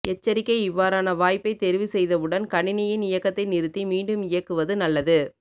எச்சரிக்கை இவ்வாறான வாய்ப்பை தெரிவு செய்தவுடன் கணினியின் இயக்கத்தை நிறுத்தி மீண்டும் இயக்குவது நல்லது